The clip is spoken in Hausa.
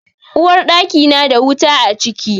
Uwarɗaki na da wuta a ciki.